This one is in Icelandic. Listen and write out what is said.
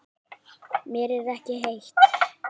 Mér er ekki heitt.